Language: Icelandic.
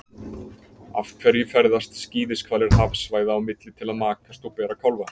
Af hverju ferðast skíðishvalir hafsvæða á milli til að makast og bera kálfa?